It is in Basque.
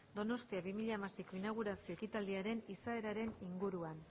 donostia bi mila hamaseiko inaugurazio ekitaldiaren izaeraren inguruan